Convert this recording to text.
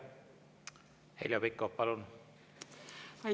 Heljo Pikhof, palun!